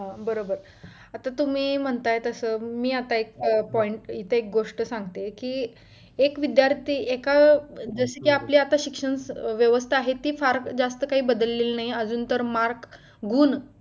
बरोबर आता तुम्ही म्हणताय तसं मी आता एक point मी इथे एक गोष्ट सांगते कि एक विद्दार्थी एका जसे की आपली आता शिक्षण व्यवस्था आहे ती फार जास्त काही बदललेले नाही अजून तर mark गुण